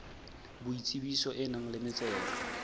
boitsebiso e nang le metsero